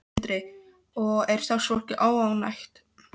Sindri: Og er starfsfólk óánægt?